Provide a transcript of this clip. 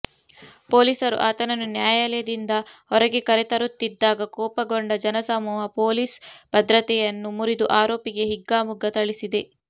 ಪೊಲೀಸರು ಆತನನ್ನು ನ್ಯಾಯಾಲಯದಿಂದ ಹೊರಗೆ ಕರೆತರುತ್ತಿದ್ದಾಗ ಕೋಪಗೊಂಡ ಜನಸಮೂಹ ಪೊಲೀಸ್ ಭದ್ರತೆಯನ್ನು ಮುರಿದು ಆರೋಪಿಗೆ ಹಿಗ್ಗಾಮುಗ್ಗಾ ಥಳಿಸಿದೆ